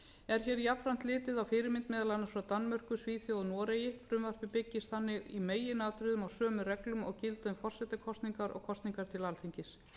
hér jafnframt gilti á fyrirmynd meðal annars frá danmörku svíþjóð og noregi frumvarpið byggist þannig í meginatriðum á sömu reglum og gilda um forsetakosningar og kosninga til alþingis